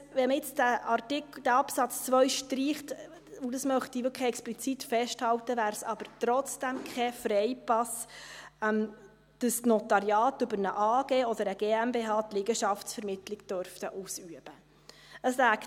Wenn man jetzt diesen Absatz 2 streicht – und das möchte ich wirklich explizit festhalten –, wäre es aber trotzdem kein Freipass, dass die Notariate die Liegenschaftsvermittlung über eine AG oder eine GmbH ausüben dürften.